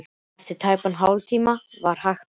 Eftir tæpan hálftíma var hægt á.